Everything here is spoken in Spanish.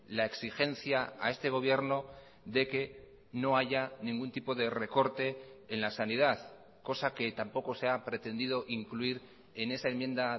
la exigencia a este gobierno de que no haya ningún tipo de recorte en la sanidad cosa que tampoco se ha pretendido incluir en esa enmienda